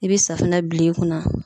I be safinɛ bil'i kunna